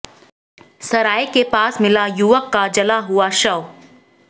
सराय के पास मिला युवक का जला हुआ शव